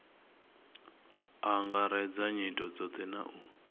angaredza nyito dzothe na u